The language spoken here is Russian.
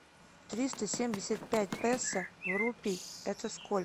триста семьдесят пять песо в рупий это сколько